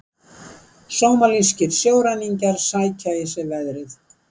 Sómalískir sjóræningjar sækja í sig veðrið